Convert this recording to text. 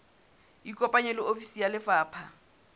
ikopanye le ofisi ya lefapha